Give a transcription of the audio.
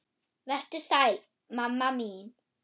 Vertu sæl mamma mín.